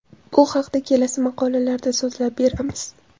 Bu haqda kelasi maqolalarda so‘zlab beramiz.